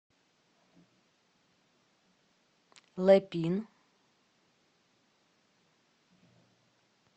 лэпин